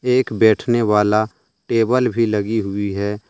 एक बैठने वाला टेबल भी लगी हुई है।